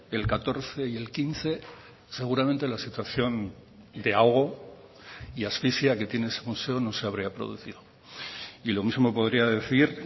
el catorce y el quince seguramente la situación de ahogo y asfixia que tiene ese museo no se habría producido y lo mismo podría decir